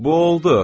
Bovold!